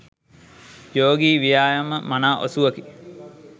යෝගී ව්‍යායාම මනා ඔසුවකි.